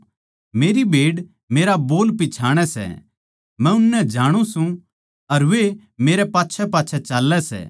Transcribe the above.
मेरी भेड़ मेरा बोल पिच्छाणै सै मै उननै जाणु सूं अर वे मेरै गेलगेल चाल्लै सै